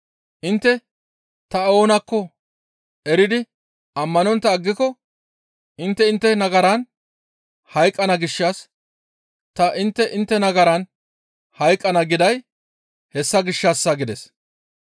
Intte ta oonakko eridi ammanontta aggiko intte intte nagaran hayqqana gishshas ta intte intte nagaran hayqqana giday hessa gishshassa» gides.